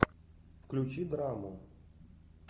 включи драму